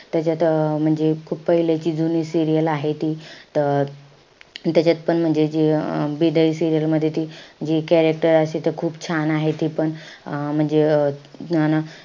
त्याच्यात अं म्हणजे खूप पहिलेची जुनी serial आहे ती. त अं त्याच्यात पण म्हणजे जे अं बिदाई serial मध्ये ती जे त्या आहे त अशा खूप छान आहे ती पण. अं म्हणजे अं अन,